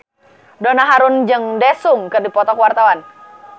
Donna Harun jeung Daesung keur dipoto ku wartawan